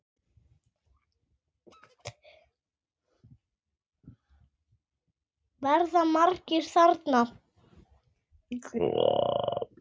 Verða margir þarna?